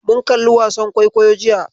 Mun kalli wasan kwaikwayo jiya.